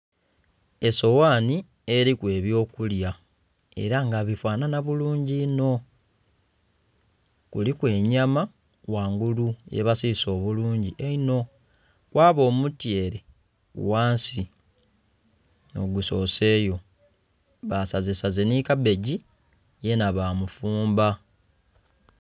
Esoghaanhi eliku eby'okulya ela nga bifanhanha bulungi inho. Kuliku enyama ghangulu yebasiise obulungi einho, kwaba omutyeere ghansi nh'ogusoseyo, basazesaze nhi kabbegi yenha bamufumba.